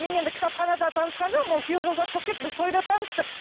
мен енді кітапханада танысқан жоқпын ол күйеу жолдас болып келді біз тойда таныстық